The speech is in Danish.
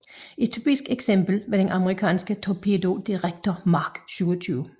Et typisk eksempel var den amerikanske Torpedo Director Mark 27